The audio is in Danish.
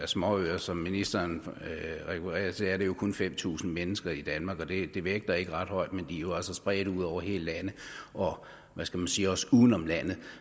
småøer som ministeren refererer til er det jo kun fem tusind mennesker i danmark og det vægter ikke ret højt men jo altså spredt ud over hele landet og hvad skal man sige også uden om landet